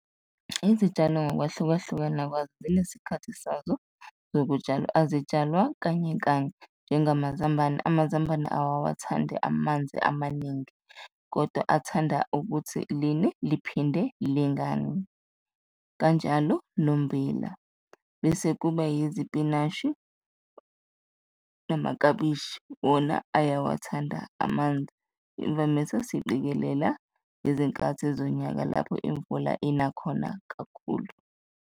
Izitshalo ngokwahlukahlukana kwazo zinesikhathi sazo zokutshalwa, azitshalwa kanye kanye, nje ngamazambane, amazambane awawathandi amanzi amaningi kodwa athanda ukuthi line liphinde lingani, kanjalo nommbila. Bese kuba yizipinashi namakabishi, wona uyawathanda amanzi, imvamisa, siqikelela ngezinkathi zonyaka lapho imvula ina khona kakhulu.